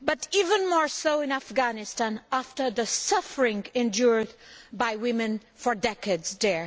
but even more so in Afghanistan after the suffering endured by women for decades there.